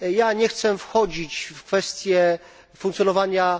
Nie chcę wchodzić w kwestie funkcjonowania, np.